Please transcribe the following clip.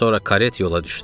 Sonra karet yola düşdü.